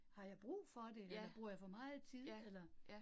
Har jeg brug for det, eller bruger jeg for meget tid eller